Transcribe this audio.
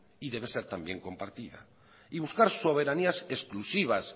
y debe de ser también compartida y buscar soberanías exclusivas